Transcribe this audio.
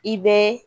I bɛ